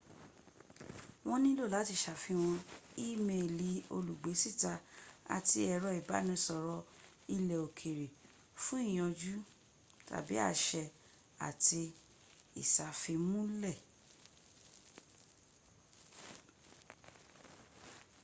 wọ́n nílò láti sàfihàn í-miìlì olùgbésíta àti ẹ̀rọ ìbánisọ̀rọ̀ ilẹ̀ òkèrè fún ìyànjú/àṣẹ àti ìsàfimúnlẹ̀